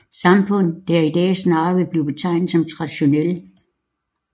Samfund der i dag snarere vil blive betegnet som traditionelle